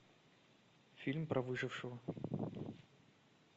фильм про выжившего